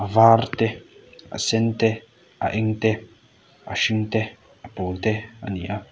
var te a sen te a eng te a hring te a pawl te a ni a.